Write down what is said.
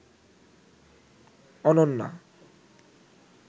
Ananya